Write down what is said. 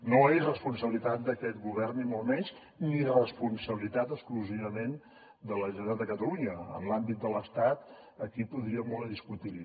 no és responsabilitat d’aquest govern ni molt menys ni responsabilitat exclusivament de la generalitat de catalunya en l’àmbit de l’estat aquí podríem tenir molt a discutir hi